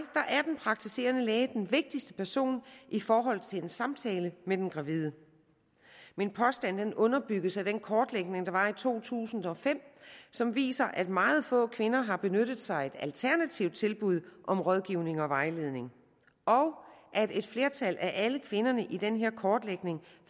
er den praktiserende læge den vigtigste person i forhold til en samtale med den gravide min påstand underbygges af den kortlægning der var i to tusind og fem som viste at meget få kvinder har benyttet sig af et alternativt tilbud om rådgivning og vejledning og at et flertal af alle kvinderne i den her kortlægning